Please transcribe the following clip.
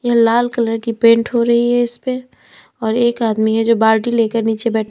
लाल colour की paint हो रही है इसपे और एक आदमी है जो बाल्टी लेकर नीचे बै--